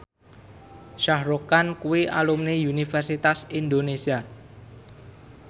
Shah Rukh Khan kuwi alumni Universitas Indonesia